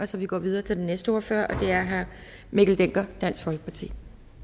så vi går videre til den næste ordfører og det er herre mikkel dencker dansk folkeparti